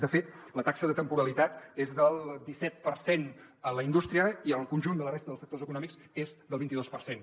de fet la taxa de temporalitat és del disset per cent a la indústria i al conjunt de la resta dels sectors econòmics és del vint i dos per cent